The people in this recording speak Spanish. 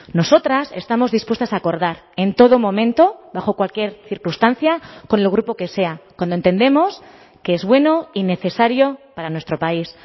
nosotras estamos dispuestas a acordar en todo momento bajo cualquier circunstancia con el grupo que sea cuando entendemos que es bueno y necesario para nuestro país